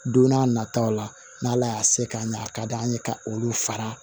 Don n'a nataw la n'ala y'a se k'a ɲɛ a ka d'an ye ka olu fara